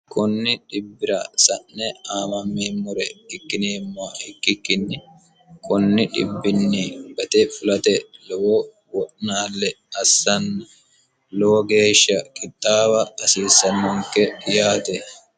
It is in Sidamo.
kunni dhibbira sa'ne aamameemmore ikkikkikkinni kunni dhibbinni baxxe fulate lowo wo'naalle assanni lowo geeshsha kixaawa hasiissammonke yaate.